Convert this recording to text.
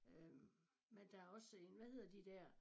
Øh men der også en hvad hedder de der